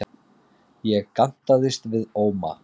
Ég gantaðist við Óma.